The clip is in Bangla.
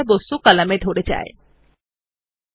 একইভাবে আমরা একটি টেবিলে অনেকগুলি কলামের জন্য এটি করতে পারি